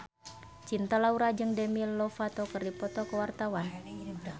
Cinta Laura jeung Demi Lovato keur dipoto ku wartawan